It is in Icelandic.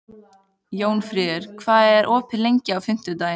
Jónfríður, hvað er opið lengi á fimmtudaginn?